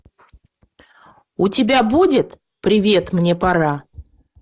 у тебя будет привет мне пора